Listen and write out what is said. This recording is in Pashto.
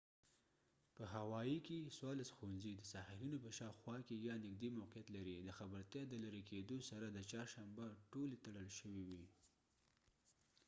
په هوائي کې څوارلس ښوونځي د ساحلونو په شاوخوا کې یا نږدې موقعیت لري د خبرتیا د لرې کیدو سره د چهارشنبه ټولې تړل شوې وې